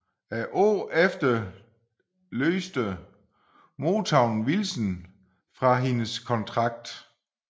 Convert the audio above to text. Året efter løste Motown Wilson fra hendes kontrakt